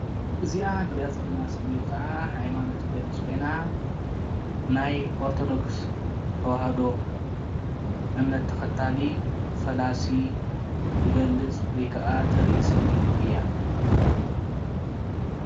እዚኣ ንሪኣ ዘለና ምስሊ ከዓ ሃይማኖት ትገልፅ ኮይና ናይ ኦርቶዶክስ ተዋህዶ እምነት ተኸታሊ ፈላሲ ትገልፅ ወይ ከዓ ተርኢ ስእሊ እያ፡፡